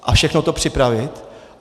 A všechno to připravit.